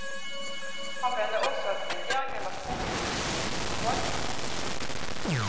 Han mener også at regjeringen var positiv til en forvaltningskomite.